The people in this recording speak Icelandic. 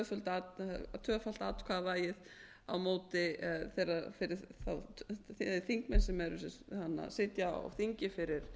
held að það sé næstum því tvöfalt atkvæðavægi fyrir þá þingmenn sem sitja á þingi fyrir